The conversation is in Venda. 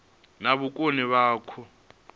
na vhukoni vhane vha khou